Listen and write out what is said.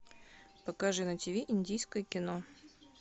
покажи на тв индийское кино